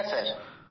হ্যাঁ স্যার